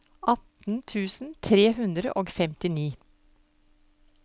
atten tusen tre hundre og femtini